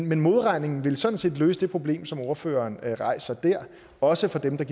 men modregningen ville sådan set løse det problem som ordføreren rejser der også for dem der